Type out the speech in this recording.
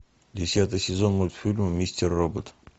десятый сезон мультфильма мистер робот